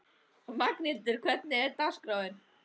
Magnhildur, hvernig er dagskráin?